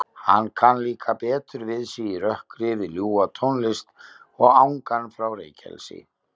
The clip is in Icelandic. Hann kann líka betur við sig í rökkri við ljúfa tónlist og angan frá reykelsi.